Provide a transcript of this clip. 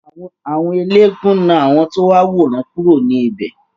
Àwọn eléégún náà àwọn tí wọ́n wà wo ìran kúrò ní ibè.